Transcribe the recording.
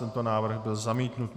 Tento návrh byl zamítnut.